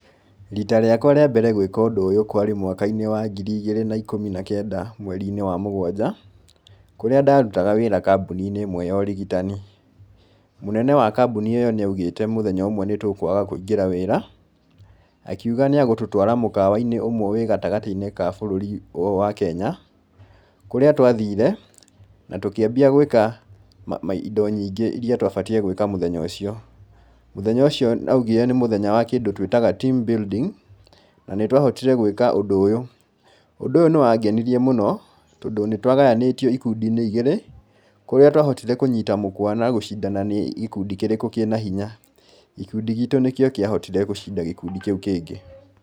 Rita rĩakwa rĩambere gwĩka ũndũ ũyũ kwarĩ mwaka-inĩ wa ngiri igĩrĩ na ikũmi na kenda mweri-inĩ wa mũgwanja, kũrĩa ndarutaga wĩra kambuni-inĩ ĩmwe ya ũrigitani. Mũnene wa kambuni ĩyo nĩ augĩte mũthenya ũmwe nĩ tũkwaga kũingĩra wĩra, akiuga nĩ agũtũtwara mũkawa-inĩ ũmwe wĩ gatagatĩ-inĩ wa bũrũri ũyũ wa Kenya, kũrĩa twathire na tũkĩambia gwĩka ma indo nyingĩ iria twabatiĩ gwĩka mũthenya ũcio. Mũthenya ũcio augire nĩ wa kĩndũ twĩtaga team building, na nĩ twahotire gwĩka ũndũ ũyũ, ũndũ ũyũ nĩwangenirie mũno, tondũ nĩ twagayanĩtio ikundi-inĩ igĩrĩ, kũrĩa twahotire kũnyita mũkwa na gũcindana nĩ gĩkundi kĩrĩkũ kĩna hinya, gĩkundi gitũ nĩkĩo kĩahotire gũcinda gĩkundi kĩu kĩngĩ.